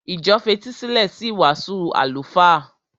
Ìjọ fetísílẹ̀ sí ìwàásù àlùfáà.